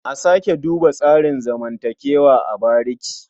A sake duba tsarin zamantakewa a bariki.